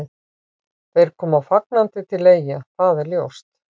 Þeir koma fagnandi til Eyja, það er ljóst.